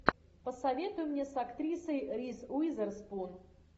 посоветуй мне с актрисой риз уизерспун